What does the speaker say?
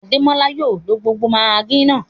Adémọlá yóò ló gbogbo maggi náà.